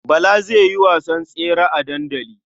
Bala zai yi wasan tsere a dandali.